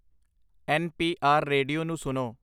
N P R radio ਨੂੰ ਸੁਣੋ